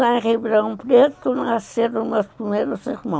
E lá em Ribeirão Preto nasceram meus primeiros irmãos.